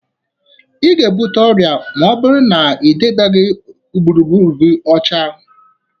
Ị ga-ebute ọrịa ma ọ bụrụ na ị dobeghi gburugburu gị ọcha.